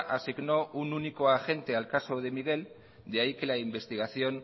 asignó un único agente al caso de miguel de ahí que la investigación